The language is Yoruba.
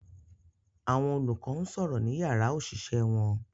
Àwọn olùkọ́ ń sọ̀rọ̀ ní yàrá òṣìṣẹ́ wọn